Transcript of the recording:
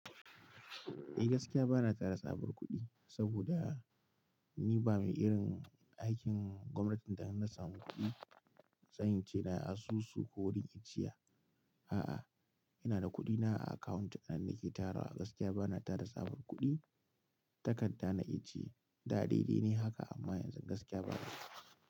Eh gaskiya bana tara tsabar kuɗi saboda ni ba mai irin aikin gwamnati da in na samu kuɗi tsayin cena asusu ko wurin icciya. A'a, ina da kuɗina a account nan nake tarawa. Gaskiya bana tara tsabar kuɗi. Takarda na ijiye, da daidai ne haka amma yanzu gaskiya ba.